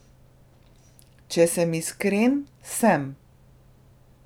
Če sem iskren, sem.